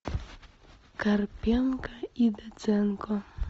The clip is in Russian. карпенко и доценко